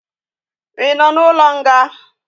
Ị nọ n'ụlọ nga?